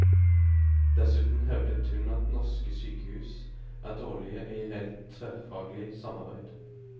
Dessuten hevdet hun at norske sykehus er dårlige i reelt tverrfaglig samarbeid.